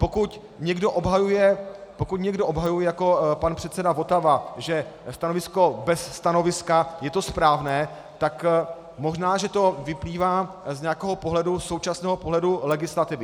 Pokud někdo obhajuje jako pan předseda Votava, že stanovisko "bez stanoviska" je to správné, tak možná že to vyplývá z nějakého současného pohledu legislativy.